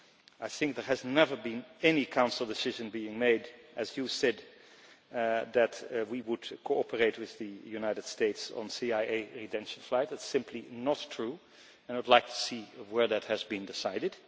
I think there has never been any Council decision being made, as you said, that we would cooperate with the United States on CIA rendition flights, that is simply not true and I would like to see where that has been decided.